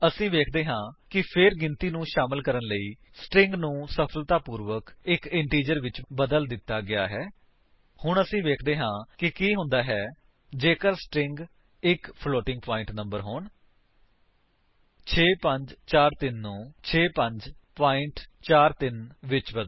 ਅਸੀ ਵੇਖਦੇ ਹਾਂ ਕਿ ਫੇਰ ਗਿਣਤੀ ਨੂੰ ਸ਼ਾਮਿਲ ਕਰਨ ਵਾਲੀ ਸਟਰਿੰਗ ਨੂੰ ਸਫਲਤਾਪੂਰਵਕ ਇੱਕ ਇੰਟੀਜਰ ਵਿੱਚ ਬਦਲ ਦਿੱਤਾ ਗਿਆ ਹੈ ਹੁਣ ਵੇਖਦੇ ਹਨ ਕਿ ਕੀ ਹੁੰਦਾ ਹੈ ਜੇਕਰ ਸਟਰਿੰਗ ਇੱਕ ਫਲੋਟਿੰਗ ਪਾਇੰਟ ਨੰਬਰ ਹੋਣ 6543 ਨੂੰ 65 43 ਵਿਚ ਬਦਲੋ